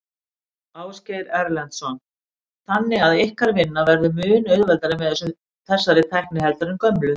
Ásgeir Erlendsson: Þannig að ykkar vinna verður mun auðveldari með þessari tækni heldur en gömlu?